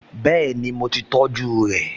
Bẹ́ẹ̀ni, mo ti tọjú rẹ̀?